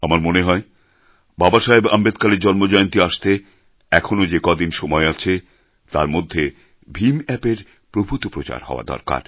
আমার মনে হয় বাবাসাহেব আম্বেদকরের জন্মজয়ন্তী আসতে এখনও যে ক দিন সময় আছে তার মধ্যে ভীম অ্যাপ এর প্রভূত প্রচার হওয়া দরকার